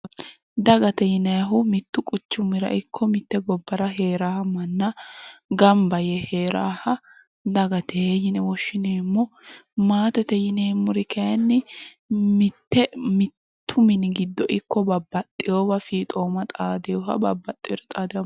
Dagate yinayihu mittu quchumira ikko mitte gobbara heerawoha manna gamba yee heerawoha dagate yine woshshineemmo. Maatete yineemmori kayinni mittu mini giddo ikko babbaxxiwowa fiixooma xaadiwoha babbaxxiwore xaadiwohati.